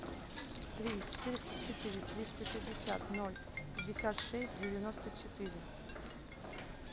три четыреста четыре триста шестьдесят ноль пятьдесят шесть девяносто четыре